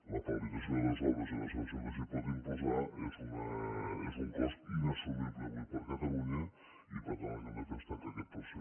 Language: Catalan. la paralització de les obres i la sanció que s’hi pot imposar és un cost inassumible avui per catalunya i per tant el que hem de fer és tancar aquest procediment